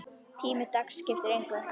Tími dags skipti engu.